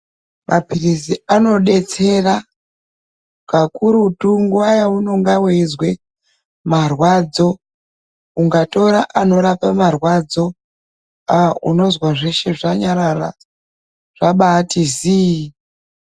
Mapirisi anodetsera kakurutu nguwa yaunenge waizwa marwadzo. Ungatora anorapa marwadzo unozwa zveshe zvanyarara zvabaati zii.